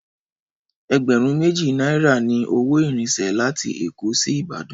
Ẹgbẹ̀rún méjì náírà ni owó ìrìnsẹ̀ láti Èkó sí Ìbàdàn